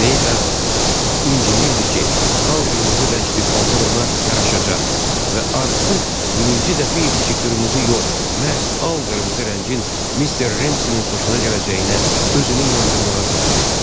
Mayda incinirdi ki, al-qırmızı rəngli paltar ona yaraşacaq və artıq mininci dəfə idi ki, qırmızı yox, məhz al-qırmızı rəngin Mister Remseynin xoşuna gələcəyinə özünü inandırmağa çalışırdı.